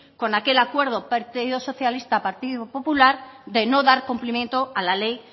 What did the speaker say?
con aquel acuerdo partido socialista partido popular de no dar cumplimiento a la ley